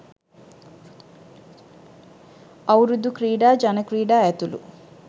අවුරුදු ක්‍රීඩා ජන ක්‍රීඩා ඇතුළු